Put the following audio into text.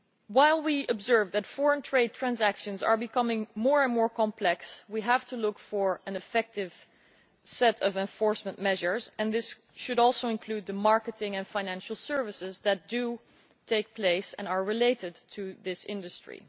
While we observe that foreign trade transactions are becoming more and more complex, we have to look for an effective set of enforcement measures, and this should also include the marketing and financial services that do take place and are related to this industry.